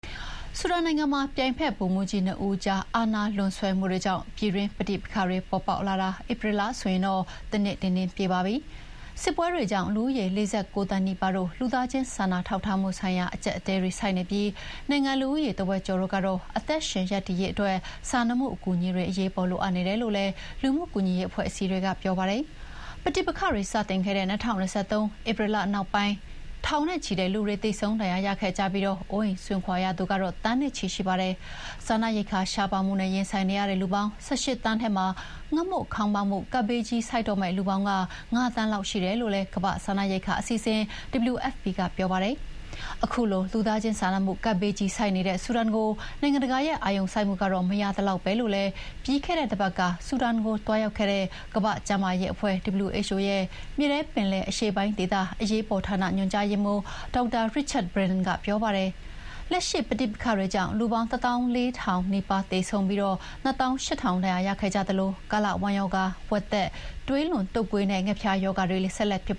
ဆူဒန်နိုင်ငံမှာ ပြိုင်ဖက်ဗိုလ်မှူးကြီးနှစ်ဦးကြား အာဏာလွန်ဆွဲမှုတွေကြောင့် ပြည်တွင်း ပဋိပက္ခတွေပေါ်ပေါက်လာတာ ဧပြီလဆိုရင် တနှစ်ပြည့်ပါပြီ။ စစ်ပွဲတွေကြောင့်လူဦးရေ ၄၉ သန်းနီးပါးတို့မှာ လူသားချင်းစာနာထောက်ထားမှုဆိုင်ရာ အကျပ်အတည်းတွေဆိုက်နေပြီလို့ လူမှုကူညီရေးအဖွဲ့တွေက ပြောပါတယ်။ နိုင်ငံ့လူဦးရေတဝက်ကျော်တို့ကတော့ အသက်ရှင်ရပ်တည်ရေးအတွက် စာနာမှုအကူအညီတွေ အရေးပေါ်လိုအပ်နေတယ်လို့လည်း ပြောပါတယ်။ ပဋိပက္ခတွေစတင်ခဲ့တဲ့ ၂၀၂၃ ဧပြီလနောက်ပိုင်း ထောင်နဲ့ချီတဲ့လူတွေသေဆုံးဒဏ်ရာရခဲ့ကြသလို သန်းနဲ့ချီတဲ့လူတွေမှာလည်း အိုးအိမ်စွန့်ခွါခဲ့ရတာပါ။ စားနပ်ရိက္ခာရှားပါးမှုနဲ့ရင်ဆိုင်နေရတဲ့ လူပါင်း ၁၈ သန်းထဲမှာ ငတ်မွတ်ခေါင်းပါးမှုဘေးဆိုက်တော့မယ့် လူပေါင်းက ၅ သန်းလောက်ရှိတယ်လို့ ကမ္ဘာ့စားနပ်ရိက္ခာအစီအစဥ် WFP ကပြောပါတယ်။ ခုလို လူသားချင်းစာနာမှုကပ်ဘေးကြီးဆိုက်နေတဲ့ ဆူဒန်အတွက် နိုင်ငံတကာရဲ့ အာရုံစိုက်မှု မရသလောက်ပဲလို့လည်း ပြီးခဲ့တဲတပတ်က ဆူဒန်ကိုသွားရောက်ခဲ့တဲ့ ကမ္ဘာ့ကျန်းမာရေးအဖွဲ့ WHO ရဲ့ မြေထဲပင်လယ်အရှေ့ပိုင်းဒေသ အရေးပေါ်ဌာန ညွှန်ကြားရေးမှူး ဒေါက်တာ Richard Brennan ကပြောပါတယ်။ လက်ရှိပဋိပက္ခတွေကြောင့်လူပေါင်း ၁၄,၀၀၀ နီးပါး သေဆုံးပြီး ၂၈,၀၀၀ ဒဏ်ရာရခဲ့ကြသလို ကာလဝမ်းရောဂါ၊ ဝက်သက်၊ သွေးလွန်တုပ်ကွေးနဲ့ ငှက်ဖျားရောဂါတွေလည်း ဆက်လက်ဖြစ်